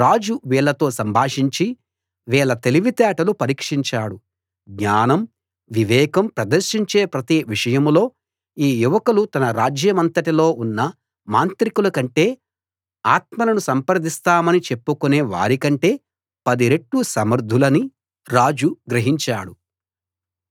రాజు వీళ్ళతో సంభాషించి వీళ్ళ తెలివితేటలు పరీక్షించాడు జ్ఞానం వివేకం ప్రదర్శించే ప్రతి విషయంలో ఈ యువకులు తన రాజ్యమంతటిలో ఉన్న మాంత్రికుల కంటే ఆత్మలను సంప్రదిస్తామని చెప్పుకునే వారి కంటే పది రెట్లు సమర్థులని రాజు గ్రహించాడు